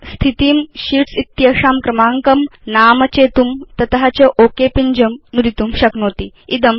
भवान् स्थितिं शीट्स् इत्येषां क्रमाङ्कं नाम चेतुं तत च ओक पिञ्जं नुदितुं शक्नोति